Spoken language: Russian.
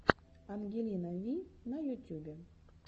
ангелина ви на ютюбе